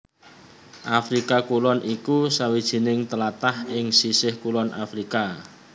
Afrika Kulon iku sawijining tlatah ing sisih kulon Afrika